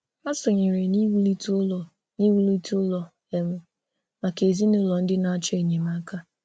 Hà sọnyèrè n’iwùlite ụlọ̀ n’iwùlite ụlọ̀ um maka ezinụlọ̀ ndị na-achọ enyemáka.